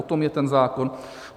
O tom je ten zákon.